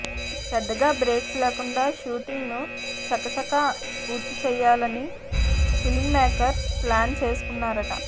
పెద్దగా బ్రేక్స్ లేకుండా షూటింగ్ను చకచకా పూర్తి చేయాలని ఫిల్మ్మేకర్స్ ప్లాన్ చేసుకున్నారట